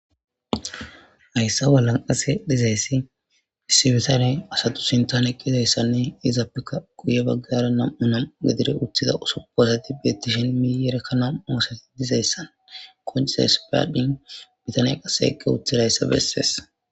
hayssa walanqase dizayssi issibitane asatu sintan eqqizayssanne izappekka guye baggara nam7u nam gadire uthiza soppasati beettishen miiyerekkanam oosati dizayssan koncise s paaddin bitaniya qase ekke uthidayssa bessees